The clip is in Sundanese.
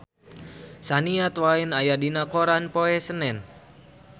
Shania Twain aya dina koran poe Senen